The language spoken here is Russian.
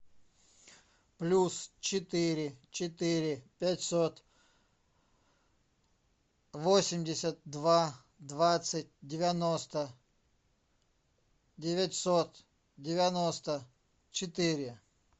плюс четыре четыре пятьсот восемьдесят два двадцать девяносто девятьсот девяносто четыре